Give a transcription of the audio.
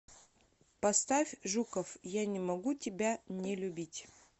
поставь жуков я не могу тебя не любить